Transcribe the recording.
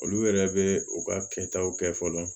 Olu yɛrɛ bɛ u ka kɛtaw kɛ fɔlɔ